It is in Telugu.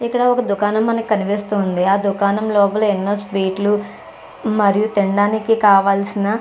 ఇక్కడ ఒక దుకాణం మనకి మకనిపిస్తూ ఉంది. ఆ దుకాణం లోపల ఎన్నో స్వీట్స్ లు మరియు తినడానికి కావాల్సిన --